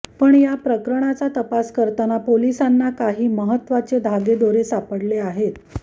पण या प्रकरणाचा तपास करताना पोलिसांना काही महत्त्वाचे धागेदोरे सापडले आहेत